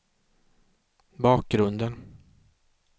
bakgrunden